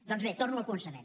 doncs bé torno al començament